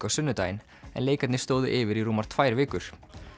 á sunnudaginn en leikarnir stóðu yfir í rúmar tvær vikur